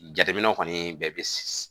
Jateminɛw kɔni bɛɛ bɛ